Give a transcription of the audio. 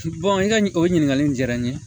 i ka o ɲininkali in diyara n ye